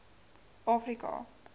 afrika